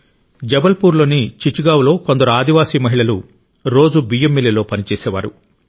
జబల్పూర్లోని చిచ్గావ్లో కొందరు ఆదివాసీ మహిళలు రోజూ బియ్యం మిల్లులో పనిచేసేవారు